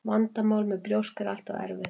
Vandamál með brjósk er alltaf erfitt.